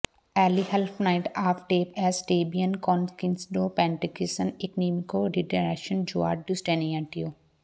ਏਲੀ ਹਲਫ਼ਨਾਟ ਆਫ ਟੇਪ ਐੱਸ ਟੈਂਬੀਅਨ ਕੌਨੋਕਸੀਡੋ ਪੈਟ੍ਰਿਕਸਿਨ ਈਕੋਨੋਮਿਕੋ ਡਿਡਾਰਕਸ਼ਨ ਜੂਅਰਡ ਡੂਸਟੈਨਿੀਐਂਟੀਓ